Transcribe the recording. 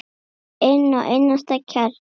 Inn að innsta kjarna.